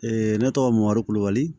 ne tɔgɔ moribali